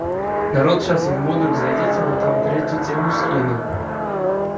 народ сейчас в модуль зайдите он там третью тему скинул